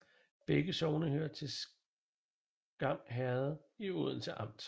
Begge sogne hørte til Skam Herred i Odense Amt